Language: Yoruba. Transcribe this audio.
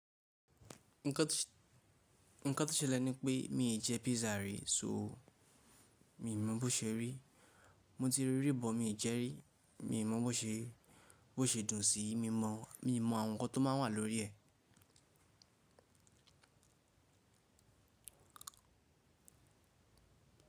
Nǹkan tó ṣe lẹ́ni pé mi ì jẹ pizza rí, so mi mọ̀ bó ṣe rí. Mo ti rí rí but, mi ì jẹ rí, mi mọ̀ bo se bó ṣe dùn sí i, mi mọ, mi mo àwọn nǹkan tó má ń wà lórí ẹ̀.